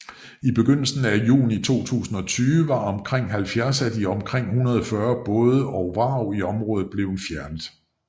I begyndelsen af juni 2020 var omkring 70 af de omkring 140 både og vrag i området blevet fjernet